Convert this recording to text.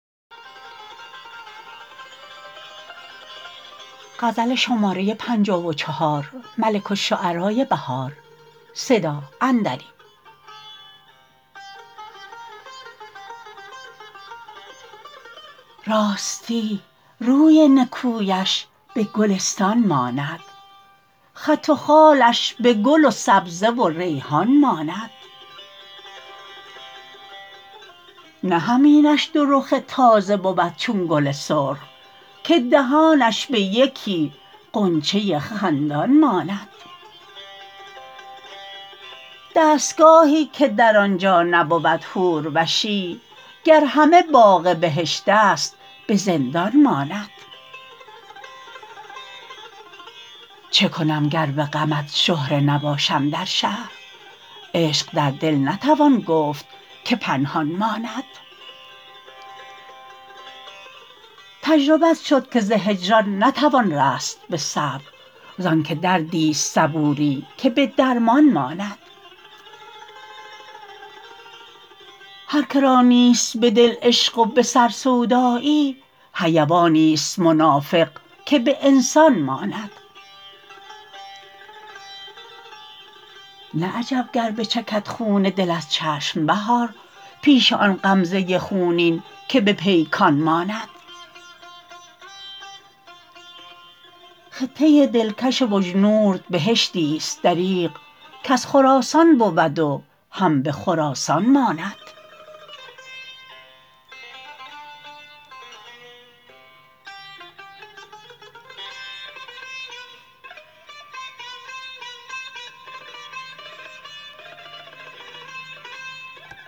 راستی روی نکویش به گلستان ماند خط و خالش به گل و سبزه و ریحان ماند نه همینش دو رخ تازه بود چون گل سرخ که دهانش به یکی غنچه خندان ماند دستگاهی که در آنجا نبود حوروشی گر همه باغ بهشت است به زندان ماند چه کنم گر به غمت شهره نباشم در شهر عشق در دل نتوان گفت که پنهان ماند تجربت شد که ز هجران نتوان رست به صبر زان که دردی ست صبوری که به درمان ماند هرکه را نیست به دل عشق و به سر سودایی حیوانی است منافق که به انسان ماند نه عجب گر بچکد خون دل از چشم بهار پیش آن غمزه خونین که به پیکان ماند خطه دلکش بجنورد بهشتی است دریغ کز خراسان بود و هم به خراسان ماند